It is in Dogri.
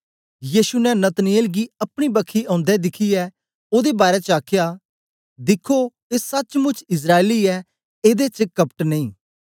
यीशु ने नतनएल गी अपनी बक्खी औंदे दिखियै ओदे बारै च आखया दिखखो ए सचमुच्च इस्राएली ऐ एदे च कपट नेई